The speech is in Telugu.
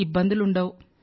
ఇబ్బందులు ఉండవు